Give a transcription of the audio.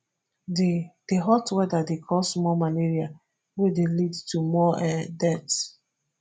di di hot weather dey cause more malaria wey dey lead to more um deaths